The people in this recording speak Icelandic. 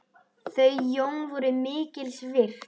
Þau Jón voru mikils virt.